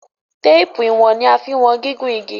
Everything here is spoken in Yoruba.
Téèpù ìwọ̀n ní a fín wọ̀n gígùn ìgi.